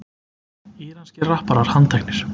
Íranskir rapparar handteknir